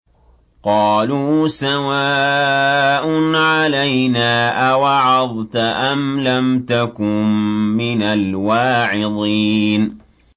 قَالُوا سَوَاءٌ عَلَيْنَا أَوَعَظْتَ أَمْ لَمْ تَكُن مِّنَ الْوَاعِظِينَ